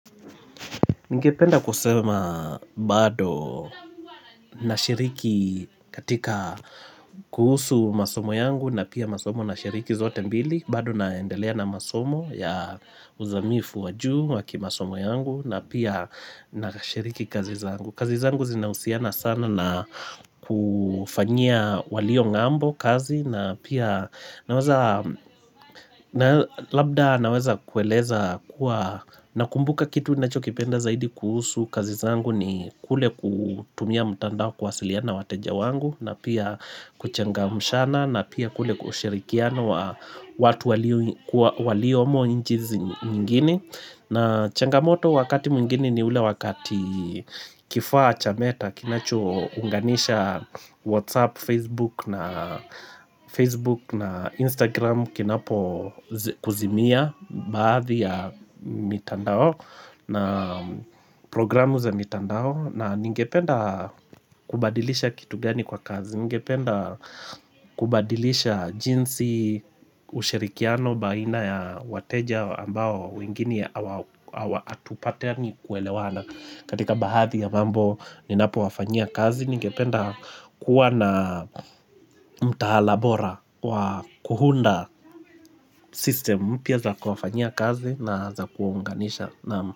Ningependa kusema bado na shiriki katika kuhusu masomo yangu na pia masomo na shiriki zote mbili bado naendelea na masomo ya uzamifu wa juu wa kimasomo yangu na pia na shiriki kazi zangu kazi zangu zinahusiana sana na kufanyia waliong'ambo kazi na pia labda naweza kueleza kuwa Nakumbuka kitu ninachokipenda zaidi kuhusu kazi zangu ni kule kutumia mtandao kuwasiliana na wateja wangu na pia kuchangamshana na pia kule kushirikiana watu waliomonchi nyingine na changamoto wakati mwingine ni ule wakati kifaa cha meta Kinachounganisha Whatsapp, facebook na, Facebook na Instagram Kinapo kuzimia baadhi ya mitandao na programu za mitandao na ningependa kubadilisha kitu gani kwa kazi Ningependa kubadilisha jinsi ushirikiano baina ya wateja ambao wengine hawa hatupatani kuelewana katika baadhi ya mambo ninapowafanyia kazi Ningependa kuwa na mtaala bora kuunda system mpya za kufanyia kazi na za kuunganisha.